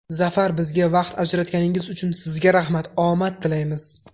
Zafar, bizga vaqt ajratganingiz uchun sizga rahmat, omad tilaymiz!